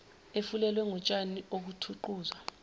efulelwe ngotshani okuthuquzwa